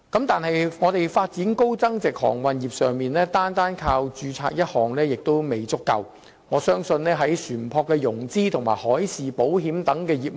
但是，香港在發展高增值航運業上，單靠註冊一項並不足夠，我們亦應重視船舶的融資和海事保險等業務。